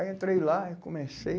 Aí entrei lá e comecei.